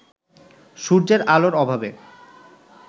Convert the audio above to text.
সূর্যের আলোর অভাবে